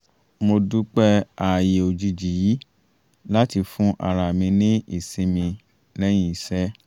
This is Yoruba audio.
mo dúpẹ́ ààyè òjijì yìí láti fún ara ní ìsinmi lẹ́yìn iṣẹ́